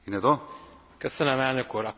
A kérdés az, hova állunk?